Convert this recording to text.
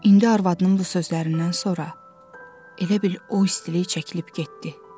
İndi arvadının bu sözlərindən sonra elə bil o istilik çəkilib getdi.